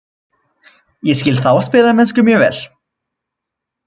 Ég skil þá spilamennsku mjög vel.